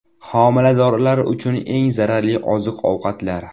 Homiladorlar uchun eng zararli oziq-ovqatlar.